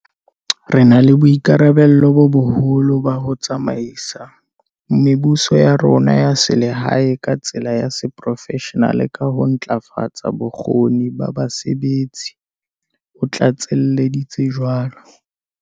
"Re na le boikarabello bo boholo ba ho tsamaisa mebuso ya rona ya selehae ka tsela ya seporofeshenale ka ho ntlafatsa bokgoni ba basebetsi," o tlatselleditse jwalo.